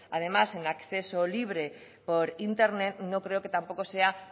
además en acceso libre por internet no creo que tampoco sea